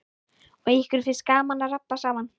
Og ykkur finnst gaman að rabba saman.